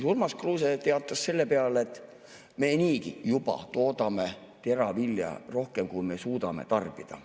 Urmas Kruuse teatas selle peale, et me juba niigi toodame teravilja rohkem, kui me suudame tarbida.